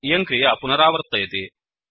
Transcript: इयं क्रिया पुनरावर्तयति